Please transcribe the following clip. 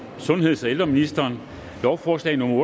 sundheds og ældreministeren lovforslag nummer